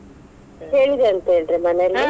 ಕೇಳ್ದೆ ಅಂತ ಹೇಳ್ರಿ .